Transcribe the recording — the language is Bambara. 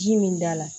Ji min da la